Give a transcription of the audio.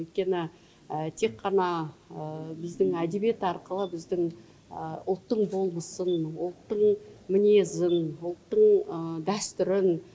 өйткені тек қана біздің әдебиет арқылы біздің ұлттың болмысын ұлттың мінезін ұлттың дәстүрін